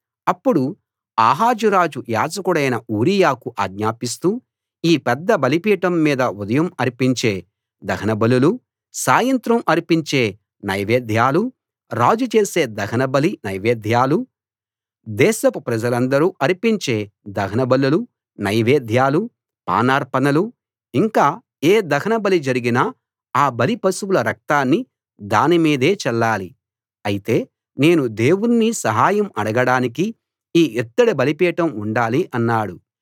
అప్పుడు ఆహాజు రాజు యాజకుడైన ఊరియాకు ఆజ్ఞాపిస్తూ ఈ పెద్ద బలిపీఠం మీద ఉదయం అర్పించే దహనబలులూ సాయంత్రం అర్పించే నైవేద్యాలూ రాజు చేసే దహనబలి నైవేద్యాలూ దేశపు ప్రజలందరూ అర్పించే దహనబలులు నైవేద్యాలూ పానార్పణలూ ఇంకా ఏ దహనబలి జరిగినా అ బలి పశువుల రక్తాన్ని దాని మీదే చల్లాలి అయితే నేను దేవుణ్ణి సహాయం అడగడానికి ఈ ఇత్తడి బలిపీఠం ఉండాలి అన్నాడు